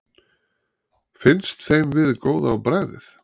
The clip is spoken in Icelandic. Finnst þeim við góð á bragðið?